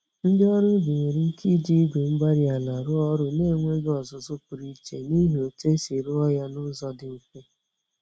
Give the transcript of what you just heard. Ndị ọrụ ubi nwere ike iji Igwe-mgbárí-ala rụọ ọrụ nenweghi ọzụzụ pụrụ iche, n'ihi otú esi rụọ ya nụzọ dị mfe